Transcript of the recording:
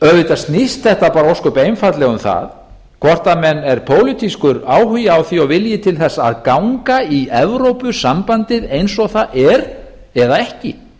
auðvitað snýst þetta bara ósköp einfaldlega um það hvort það er pólitískur áhugi á því og vilji til þess að ganga í evrópusambandið eins og það er eða ekki